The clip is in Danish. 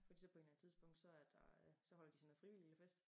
Fordi så på en eller anden tidspunkt så er det øh så holder de sådan noget frivilligfest